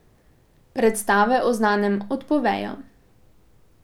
Predstave o znanem odpovejo.